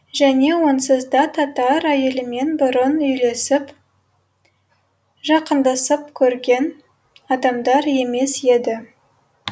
және онсыз да татар әйелімен бұрын үйлесіп жақындасып көрген адамдар емес еді